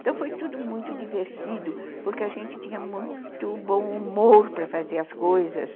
Então, foi tudo muito divertido, porque a gente tinha muito bom humor para fazer as coisas.